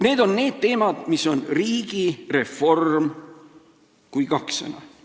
Need on need teemad, kui "riigi reform" on kaks sõna.